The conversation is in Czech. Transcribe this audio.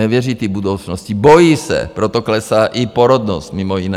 Nevěří té budoucnosti, bojí se, proto klesá i porodnost mimo jiné.